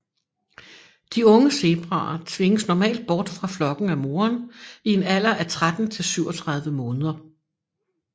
De unge zebraer tvinges normalt bort fra flokken af moren i en alder af 13 til 37 måneder